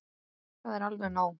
Það er alveg nóg.